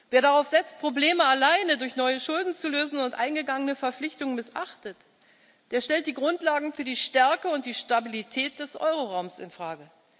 Wer darauf setzt, Probleme alleine durch neue Schulden zu lösen, und eingegangene Verpflichtungen missachtet, der stellt die Grundlagen für die Stärke und die Stabilität des Euroraums in Frage.